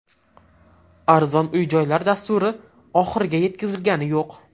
Arzon uy-joylar dasturi oxiriga yetkazilgani yo‘q.